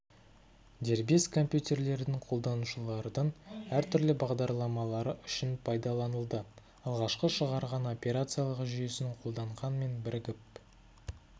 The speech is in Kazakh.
дербес компьютерлердің қолданушылардың әртүрлі бағдарламалары үшін пайдаланылды алғашқыда шығарған операциялық жүйесін қолданған мен бірігіп